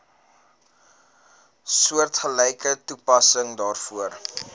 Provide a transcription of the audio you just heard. soortgelyke toepassing daarvoor